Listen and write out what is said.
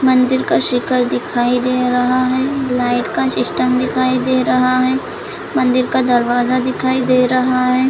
मंदिर का शिखर दिखाई दे रहा हैं लाइट का सिस्टम दिखाई दे रहा हैं मंदिर का दरवाजा दिखाई दे रहा हैं।